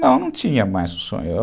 Não, eu não tinha mais o sonho.